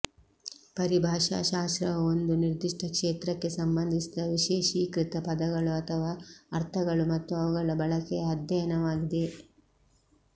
ಪರಿಭಾಷಾ ಶಾಸ್ತ್ರವು ಒಂದು ನಿರ್ದಿಷ್ಟ ಕ್ಷೇತ್ರಕ್ಕೆ ಸಂಬಂಧಿಸಿದ ವಿಶೇಷೀಕೃತ ಪದಗಳು ಅಥವಾ ಅರ್ಥಗಳು ಮತ್ತು ಅವುಗಳ ಬಳಕೆಯ ಅಧ್ಯಯನವಾಗಿದೆ